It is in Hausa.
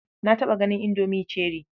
Na taɓa ganin indomi cherie.